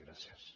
gràcies